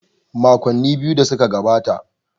Makonni biyu da suka gabata.